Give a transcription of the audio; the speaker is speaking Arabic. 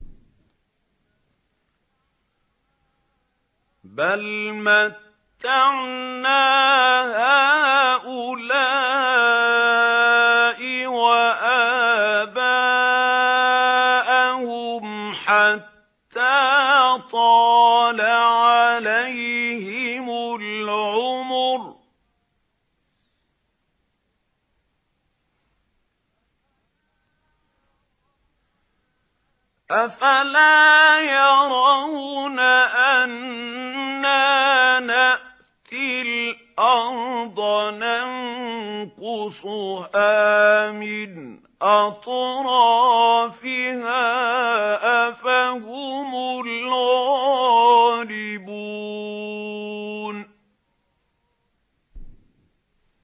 بَلْ مَتَّعْنَا هَٰؤُلَاءِ وَآبَاءَهُمْ حَتَّىٰ طَالَ عَلَيْهِمُ الْعُمُرُ ۗ أَفَلَا يَرَوْنَ أَنَّا نَأْتِي الْأَرْضَ نَنقُصُهَا مِنْ أَطْرَافِهَا ۚ أَفَهُمُ الْغَالِبُونَ